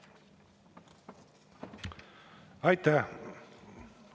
Aitäh!